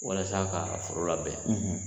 Walasa ka foro labɛn bɛn